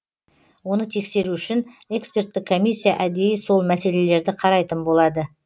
оны тексеру үшін эксперттік комиссия әдейі сол мәселелерді қарайтын болады